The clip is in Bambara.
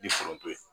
K'i foronto ye